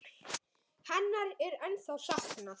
Hennar er ennþá saknað.